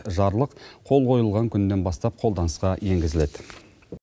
жарлық қол қойылған күнінен бастап қолданысқа енгізіледі